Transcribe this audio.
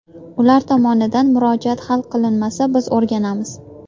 Ular tomonidan murojaat hal qilinmasa biz o‘rganamiz.